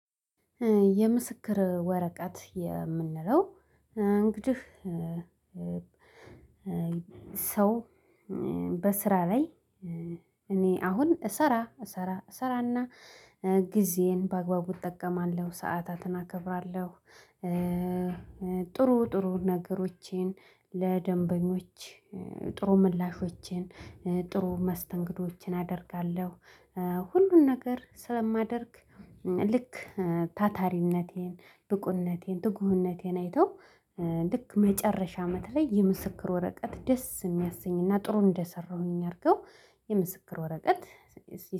የምስክር ወረቀት የምንለው እንግዲህ ሰው በስራ ላይ እኔ አሁን እሰራ እሰራ እሰራና እና ጊዜን በአግባቡ እጠቀማለሁ ሰዓታትን አከብራለሁ። ጥሩ ጥሩ ነገሮቼን ለደንበኞች ጥሩ ምላሾቼን ጥሩ መስተንግዶችን አደርጋለሁ። ሁሉን ነገር ስለማደርግ ልክ ታታሪነቴን ብቁነቴን ትጉህነቴን አይተው ልክ መጨረሻ አመት ላይ የምስክር ወረቀት ደስ የሚያሰኝና ጥሩ እንደሰራሁኝ አድርገው የምስክር ወረቀት